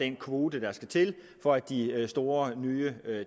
den kvote der skal til for at de store nye